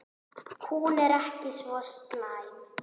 Hún er ekki svo slæm.